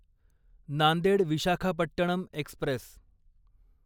Nanded Visakhapatnam Express